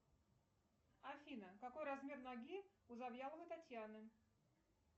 афина какой размер ноги у завьяловой татьяны